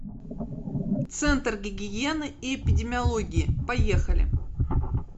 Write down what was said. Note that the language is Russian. центр гигиены и эпидемиологии поехали